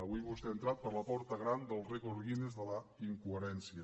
avui vostè ha entrat per la porta gran del rècord guinness de la incoherència